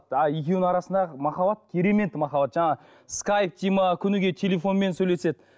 а екеуінің арасындағы махаббат керемет махаббат жаңағы скайп дейді ме күнігей телефонмен сөйлеседі